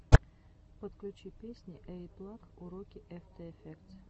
подключи песни эйиплаг уроки эфтэ эфектс